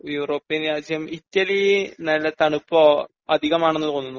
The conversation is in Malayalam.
യൂറോപ്പിയൻ രാജ്യം ഇറ്റലി നല്ല തണുപ്പോ അതികമാണെന്ന് തോന്നുന്നു